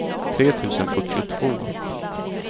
tre tusen fyrtiotvå